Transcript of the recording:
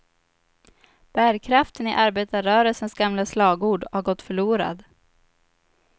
Bärkraften i arbetarrörelsens gamla slagord har gått förlorad.